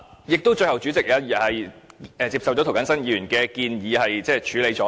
最後，代理主席接受了涂謹申議員的建議，並予以處理。